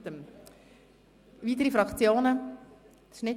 Gibt es weitere Fraktionen, die das Wort wünschen?